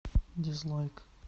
дизлайк